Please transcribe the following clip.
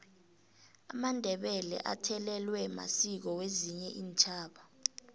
amandebele athelelwe masiko wezinye iintjhaba